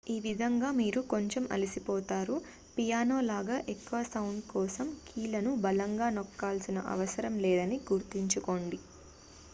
ఈ విధంగా మీరు కొంచెం అలసిపోతారు పియానో లాగా ఎక్కువ సౌండు కోసం కీలను బలంగా నొక్కాల్సిన అవసరం లేదని గుర్తుంచుకోండి